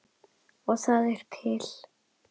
Og það er til!